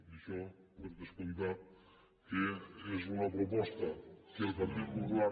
i això per descomptat que és una proposta que el partit popular